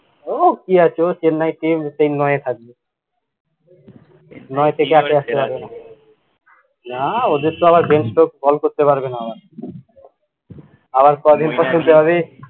উহ কি আছে ও chennai team সেই নয় এই থাকবে, নয় থেকে আর পারবেনা, নাহ ওদেরতো আবার call করতে পারবেনা আবার আবার কদিন পর শুনতে হবে